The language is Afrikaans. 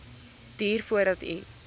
duur voordat u